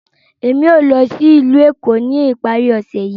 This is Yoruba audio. Emi yóò lọ si ilu Eko ni ipari ose yii.